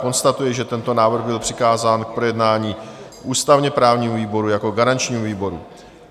Konstatuji, že tento návrh byl přikázán k projednání ústavně-právnímu výboru jako garančnímu výboru.